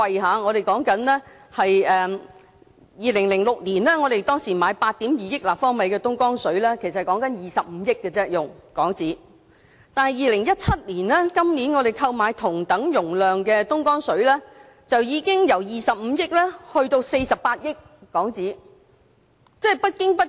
在2006年，我們使用了25億港元購買8億 2,000 萬立方米的東江水；但在2017年，購買同等容量的東江水，就已經由25億港元上升至48億港元。